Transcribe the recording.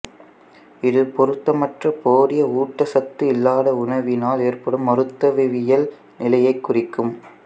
இது பொருத்தமற்ற போதிய ஊட்டச்சத்து இல்லாத உணவினால் ஏற்படும் மருத்துவவியல் நிலையைக் குறிக்கும்